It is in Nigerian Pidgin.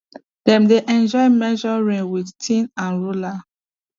dem dey enjoy measure rain with tin and ruler